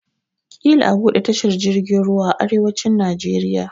Ƙila a buɗe tashar jirgin ruwa a arewacin Najeriya.